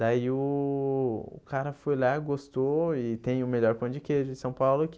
Daí o o cara foi lá, gostou e tem o melhor pão de queijo em São Paulo que